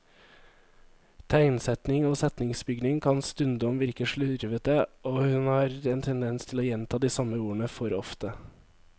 Tegnsetting og setningsbygning kan stundom virke slurvete, og hun har en tendens til å gjenta de samme ordene for ofte.